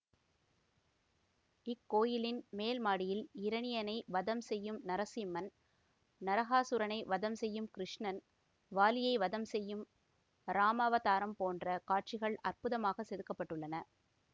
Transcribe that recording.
இக்கோவிலின் மேல் மாடியில் இரணியனை வதம் செய்யும் நரசிம்மன் நரகாசுரனை வதம் செய்யும் கிருஷ்ணன் வாலியை வதம் செய்யும் இராமவதாரம் போன்ற காட்சிகள் அற்புதமாகச் செதுக்க பட்டுள்ளன